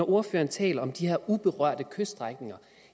ordføreren taler om de her uberørte kyststrækninger